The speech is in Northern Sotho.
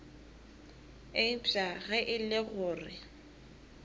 eupša ge e le gore